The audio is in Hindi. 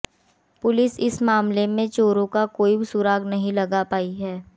पुलिस इस मामले में चोरों का कोई सुराग नहीं लगा पाई हैं